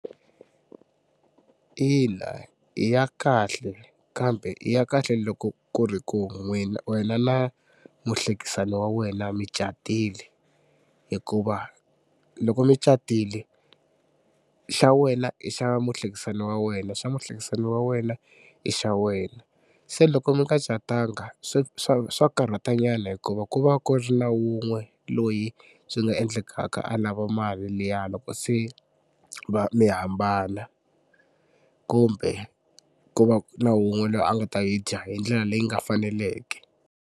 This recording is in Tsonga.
Ina i ya kahle kambe i ya kahle loko ku ri ku wena na muhlekisani wa wena mi catile hikuva loko mi catile xa wena i xa muhlekisani wa wena xa muhlekisani wa wena i xa wena. Se loko mi nga catanga swa swa swa karhatanyana hikuva ku va ku ri na wun'we loyi swi nga endlekaka a lava mali liya loko se va mi hambana kumbe ku va na wun'we loyi a nga ta yi dya hi ndlela leyi nga faneleke.